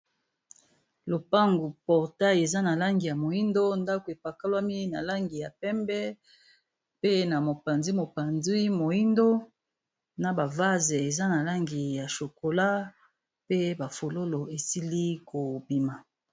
Lopangu portail eza na langi ya moyindo ndako epakalami na langi ya pembe pe na mopanzi mopanzi moyindo na bavase eza na langi ya chokola pe bafololo esili kobima.